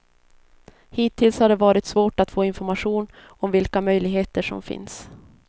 Hittills har det varit svårt att få information om vilka möjligheter som finns.